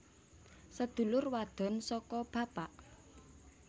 Sedulur wadon saka bapak